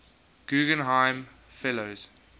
guggenheim fellows